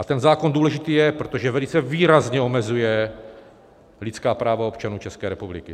A ten zákon důležitý je, protože velice výrazně omezuje lidská práva občanů České republiky.